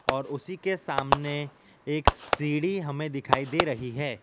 और उसी के सामने एक सीढ़ी हमें दिखाई दे रही है।